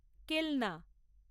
কেলনা